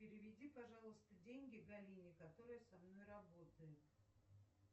переведи пожалуйста деньги галине которая со мной работает